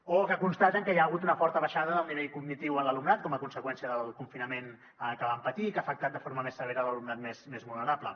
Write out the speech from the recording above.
o constaten que hi ha hagut una forta baixada del nivell cognitiu en l’alumnat com a conseqüència del confinament que van patir i que ha afectat de forma més severa l’alumnat més vulnerable